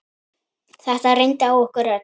Þetta reyndi á okkur öll.